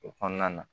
O kɔnɔna na